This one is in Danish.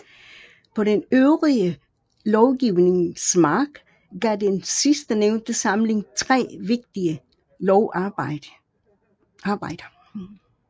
På den øvrige lovgivnings mark gav den sidstnævnte samling 3 vigtige lovarbejder